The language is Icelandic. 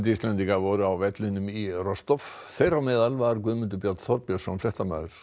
Íslendingar voru á vellinum í þeirra á meðal var Guðmundur Björn Þorbjörnsson fréttamaður